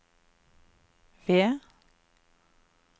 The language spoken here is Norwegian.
ved